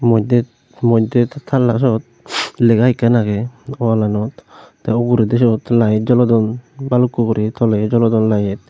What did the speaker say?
moddey moddet tall talla suot lega ekkan agey wallanot te uguredi suot light jolodon balukko guri tolediyo jolodon layet .